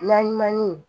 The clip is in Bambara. Naɲumanni